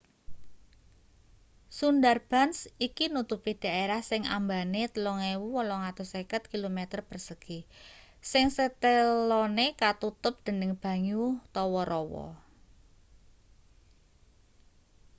sundarbans iki nutupi daerah sing ambane 3.850 km² sing setelone katutup dening banyu/rawa